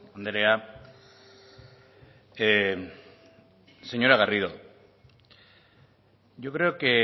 andrea señora garrido yo creo que